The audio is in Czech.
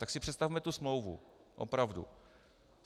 Tak si představme tu smlouvu, opravdu.